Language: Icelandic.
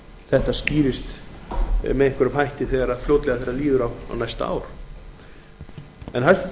þau mál skýrist með einhverjum hætti þegar líður á næsta ár hæstvirtur